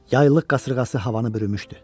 Yaylıq qasırğası havanı bürümüşdü.